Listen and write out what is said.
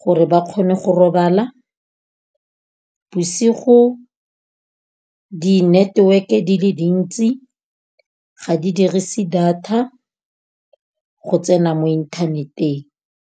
gore ba kgone go robala. Bosigo di-network-e di le dintsi ga di dirise data go tsena mo internet-eng.